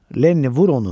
Lenni, vur onu!